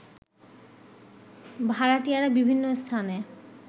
ভাড়াটিয়ারা বিভিন্ন স্থানে